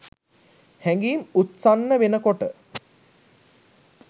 හැඟීම් උත්සන්න වෙනකොට